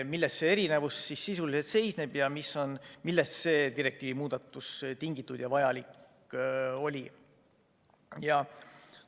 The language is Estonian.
Milles see erinevus sisuliselt seisneb ja millest see direktiivi muudatus on tingitud ja milleks see on vajalik?